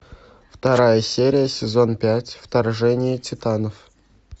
вторая серия сезон пять вторжение титанов